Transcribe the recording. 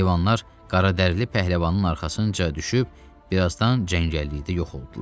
Heyvanlar qaradərili pəhləvanın arxasınca düşüb birazdan cəngəllikdə yox oldular.